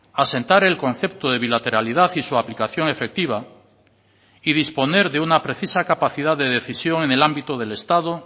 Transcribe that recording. asentar el concepto de bilateralidad y su aplicación efectiva y disponer de una precisa capacidad de decisión en el ámbito del estado